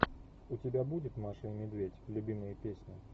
у тебя будет маша и медведь любимые песни